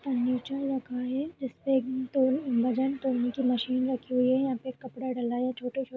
Furniture लगा है जिस पे एक तौल वजन तौलने की मशीन रखी हुई है यहां पे एक कपड़ा डला है। छोटे-छोटे --